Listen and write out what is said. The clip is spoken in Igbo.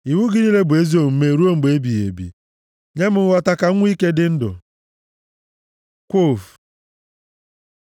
Iwu gị niile bụ ezi omume ruo mgbe ebighị ebi; nye m nghọta, ka m nwe ike dị ndụ. ק Kwof